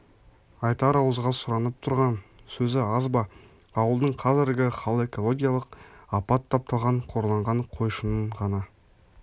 айтар ауызға сұранып тұрған сөзі аз ба ауылдың қазіргі хал экологиялық апат тапталған қорланған қойшының ғана